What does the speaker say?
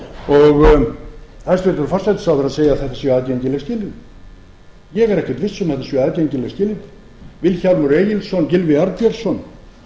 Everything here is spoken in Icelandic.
og hæstvirtur forsætisráðherra segir að þetta séu aðgengileg skilyrði ég er ekki viss um að þetta séu aðgengileg skilyrði vilhjálmur egilsson gylfi arnbjörnsson